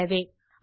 அவ்வளவே